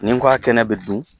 Nin ko a kɛnɛ bɛ dun